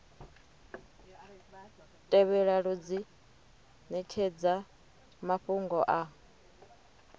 tevhelaho dzi netshedza mafhungo a